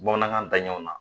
Bamanankan daɲɛnw na